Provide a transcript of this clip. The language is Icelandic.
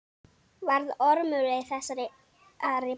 Varð Ormur við þessari bón.